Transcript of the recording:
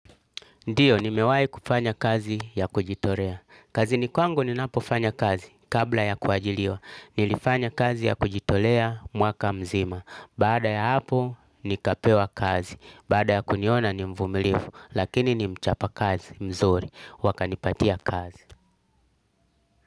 Ndiyo nimewahi kufanya kazi ya kujitolea. Kazini kwangu ninapofanya kazi kabla ya kuajiriwa. Nilifanya kazi ya kujitolea mwaka mzima. Baada ya hapo nikapewa kazi. Bada ya kuniona ni mvumilifu. Lakini ni mchapa kazi mzuri. Wakanipatia kazi.